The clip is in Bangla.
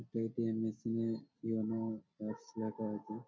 এটা এ.টি.এম. মেশিন -এ কি যেন পাশে রাখা আছে |